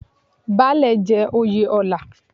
Baálẹ̀ jẹ́ oyè ọlá.